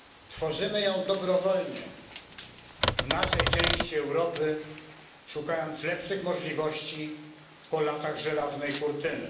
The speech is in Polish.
Tworzymy ją dobrowolnie w naszej części Europy, szukając lepszych możliwości po latach Żelaznej Kurtyny.